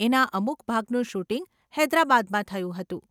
એના અમુક ભાગનું શૂટિંગ હૈદરાબાદમાં થયું હતું.